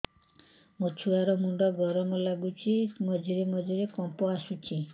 ମୋ ଛୁଆ ର ମୁଣ୍ଡ ଗରମ ଲାଗୁଚି ମଝିରେ ମଝିରେ କମ୍ପ ଆସୁଛି